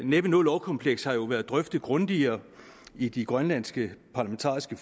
næppe noget lovkompleks har jo været drøftet grundigere i de grønlandske parlamentariske